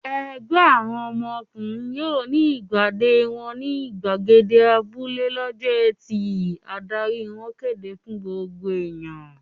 "Ẹgbẹ́ àwọn ọkùnrin yóò ní ìpàdé wọn ní ìgbàgede abúlé lọ́jọ́ ẹtì!" Adarí wọn kéde fún gbogbo ènìyàn.